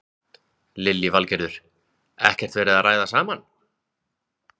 Lillý Valgerður: Ekkert verið að ræða saman?